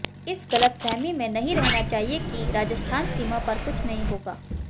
इस गलतफहमी में नहीं रहना चाहिए कि राजस्थान सीमा पर कुछ नहीं होगा